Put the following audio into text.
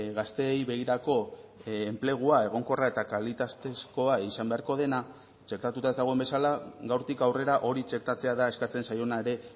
gazteei begirako enplegua egonkorra eta kalitatezkoa izan beharko dena txertatuta ez dagoen bezala gaurtik aurrera hori txertatzea da eskatzen zaiona ere